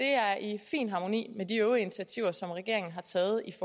er i fin harmoni med de øvrige initiativer som regeringen har taget i